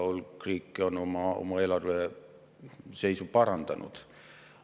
Hulk riike on oma eelarveseisu ka parandanud.